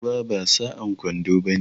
Ruwa ba sa'an kwando bane.